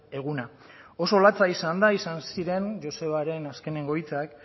eguna oso latza izan da izan ziren josebaren azkeneko hitzak